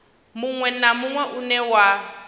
munwe na munwe une wa